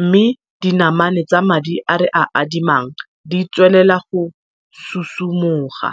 mme dinamane tsa madi a re a adimang di tswelela go susu moga.